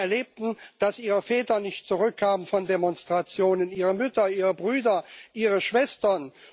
Sie erlebten, dass ihre Väter nicht zurückkamen von Demonstrationen, ihre Mütter, ihre Brüder, ihre Schwestern.